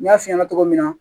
N y'a f'i ɲɛna cogo min na